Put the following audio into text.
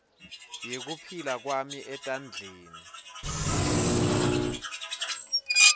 yekuphila kwami etandleni